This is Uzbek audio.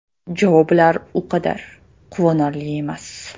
Javoblar u qadar quvonarli emas.